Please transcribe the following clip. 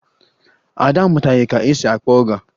Ada amụtaghị ka esi akpọ ọga